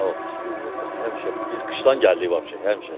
Nə vaxt, həmişə biz qışdan gəldik vaxt, həmişə.